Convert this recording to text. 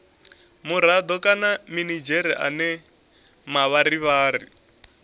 murado kana minidzhere ane mavharivhari